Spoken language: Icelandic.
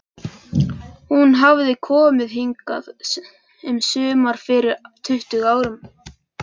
Hún hafði komið hingað um sumar fyrir tuttugu árum.